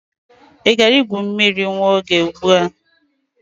Ị gara igwu mmiri nwa oge ugbu a?